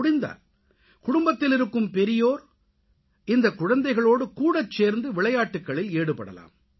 முடிந்தால் குடும்பத்தில் இருக்கும் பெரியோர் இந்தக் குழந்தைகளோடு கூடச் சேர்ந்து விளையாட்டுக்களில் ஈடுபடலாம்